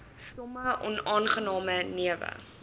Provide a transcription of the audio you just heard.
sommige onaangename newe